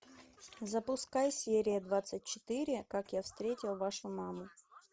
запускай серия двадцать четыре как я встретил вашу маму